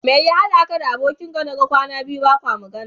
Mai ya haɗa ka da abokin ka naga kwana biyu bakwa magana?